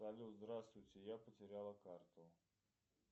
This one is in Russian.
салют здравствуйте я потеряла карту